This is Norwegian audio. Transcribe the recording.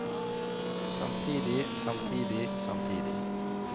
samtidig samtidig samtidig